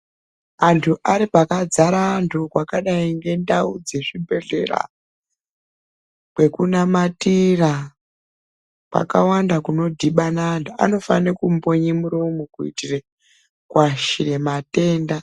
Anthu ari pakadzare anthu kwakadai ngendau dzezvibhedhlera kwekunamatira kwakawanda kunodhibana anthu anofane kumbonye muromo kuitira kuashire matenda.